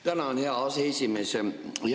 Tänan, hea aseesimees!